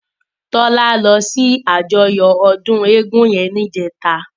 Tola lò si àjòyò òdún égùn yèn nijètá